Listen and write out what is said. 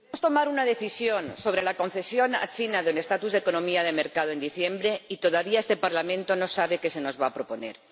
Señor Presidente, debíamos tomar una decisión sobre la concesión a China del estatuto de economía de mercado en diciembre y todavía este Parlamento no sabe qué se nos va a proponer.